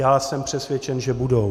Já jsem přesvědčen, že budou.